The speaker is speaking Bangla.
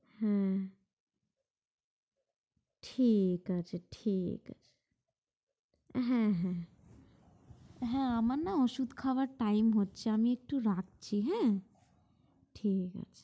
হ্যাঁ ঠিক আছে, ঠিক আছে হ্যাঁ হ্যাঁ, হ্যাঁ আমার না ওষুধ খাবার time হচ্ছে। আমি না একটু রাখছি। উম ঠিক আছে।